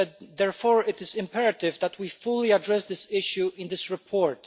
Therefore, it is imperative that we fully address this issue in this report.